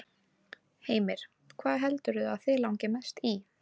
Heimir: Hvað heldurðu að þig langi mest í?